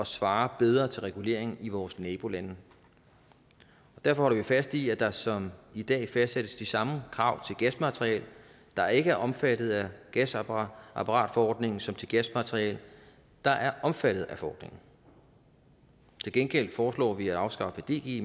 svare bedre til reguleringen i vores nabolande derfor holder vi fast i at der som i dag fastsættes de samme krav til gasmateriel der ikke er omfattet af gasapparatforordningen som til gasmateriel der er omfattet af forordningen til gengæld foreslår vi at afskaffe dg